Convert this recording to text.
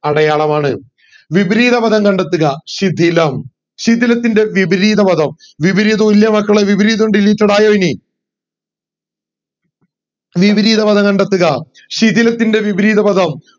അടയാളമാണ് വിപരീത പദം കണ്ടെത്തുക ശിഥിലം ശിഥിലത്തിന്റെ വിപരീതപദം വിപരീത തുല്യവാക്കുകൾ വിപരീതോ ആയോ ഇനി വിപരീത പദം കണ്ടെത്തുക ശിഥിലത്തിന്റെ വിപരീതപദം